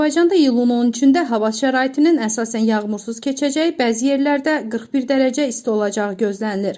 Azərbaycanda iyulun 13-də hava şəraitinin əsasən yağmursuz keçəcəyi, bəzi yerlərdə 41 dərəcə isti olacağı gözlənilir.